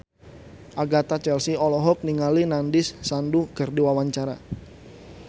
Agatha Chelsea olohok ningali Nandish Sandhu keur diwawancara